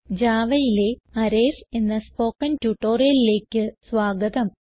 Javaയിലെ അറേയ്സ് എന്ന സ്പോകെൻ ട്യൂട്ടോറിയലിലേക്ക് സ്വാഗതം